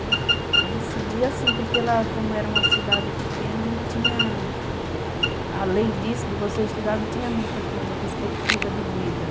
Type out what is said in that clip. Eu decidi assim, porque lá, como era uma cidade pequena, não tinha... Além disso, de você estudar, não tinha muita coisa, perspectiva de vida.